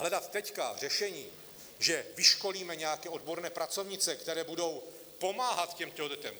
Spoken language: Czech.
Hledat teď řešení, že vyškolíme nějaké odborné pracovnice, které budou pomáhat těmto dětem...